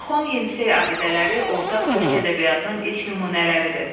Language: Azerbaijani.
Orxon Yenisey abidələri ortaq türk ədəbiyyatının ilk nümunələridir.